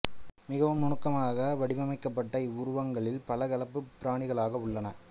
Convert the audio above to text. மிகவும் நுணுக்கமாக வடிவமைக்கப்பட்ட இவ்வுருவங்களிற் பல கலப்புப் பிராணிகளாக உள்ளன